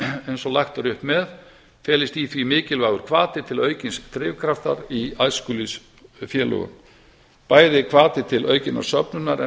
eins og lagt er upp með felist í því mikilvægur hvati til aukins drifkraftar í æskulýðsfélögum bæði hvati til aukinnar söfnunar en